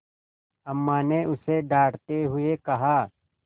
अम्मा ने उसे डाँटते हुए कहा